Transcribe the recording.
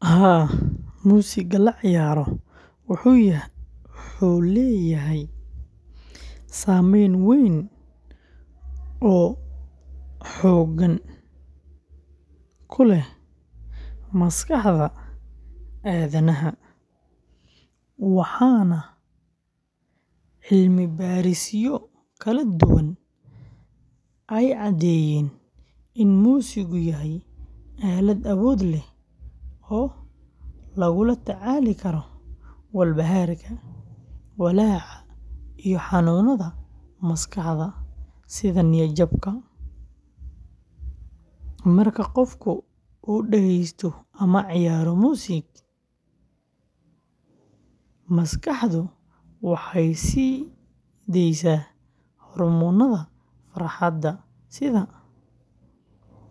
Haa, muusiga la ciyaaro wuxuu leeyahay saameyn weyn oo togan ku leh maskaxda aadanaha, waxaana cilmibaarisyo kala duwan ay cadeeyeen in muusigu yahay aalad awood leh oo lagula tacaali karo walbahaarka, walaaca iyo xanuunada maskaxda sida niyad-jabka. Marka qofku uu dhegeysto ama ciyaaro muusig, maskaxdu waxay sii deysaa hormoonnada farxadda,